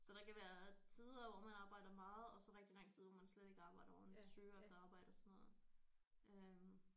Så der kan være tider hvor man arbejder meget og så rigtig lang tid hvor man slet ikke arbejder hvor man lidt søger efter arbejde og sådan noget øh